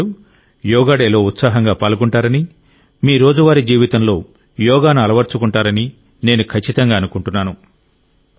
మీరందరూ యోగా డేలో ఉత్సాహంగా పాల్గొంటారని మీ రోజువారీ జీవితంలో యోగాను అలవర్చుకుంటారని నేను ఖచ్చితంగా అనుకుంటున్నాను